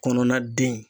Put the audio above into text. Kɔnɔna den